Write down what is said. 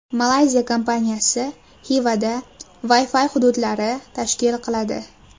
Malayziya kompaniyasi Xivada Wi-Fi hududlari tashkil qiladi.